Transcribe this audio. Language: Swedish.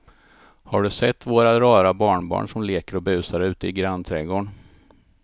Har du sett våra rara barnbarn som leker och busar ute i grannträdgården!